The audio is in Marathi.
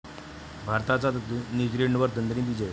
भारताचा न्यूझीलंडवर दणदणीत विजय